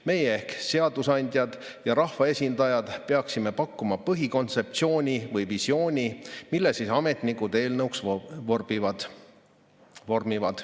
Meie kui seadusandjad ja rahvaesindajad peaksime pakkuma põhikontseptsiooni või visiooni, mille ametnikud eelnõuks vormivad.